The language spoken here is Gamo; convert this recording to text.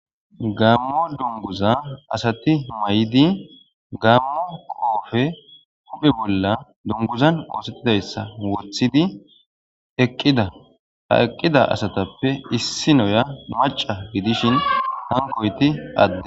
gammo dunguza asati mayidi gammo qoofe huphe bolla dunguzan oosettidayssa wothidi eqqida ha eqqida asatappe issinoya maca gidishin hankoyti adde